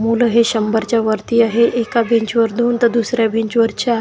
हे शंभरच्या वरती आहे एका बेंच वर दोन तर दुसऱ्या बेंच वर चार--